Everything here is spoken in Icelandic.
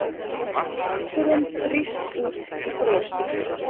Léttirinn brýst út í brosi.